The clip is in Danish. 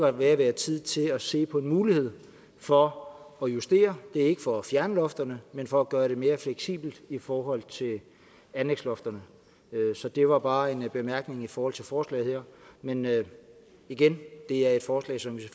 er ved at være tid til at se på en mulighed for at justere ikke for at fjerne lofterne men for at gøre det mere fleksibelt i forhold til anlægslofterne så det var bare en bemærkning i forhold til forslaget men igen det er et forslag som vi